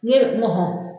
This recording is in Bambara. Ne